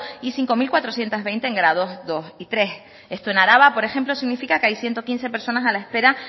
y cinco mil cuatrocientos veinte en grado dos y tres esto en araba por ejemplo significa que hay ciento quince personas a la espera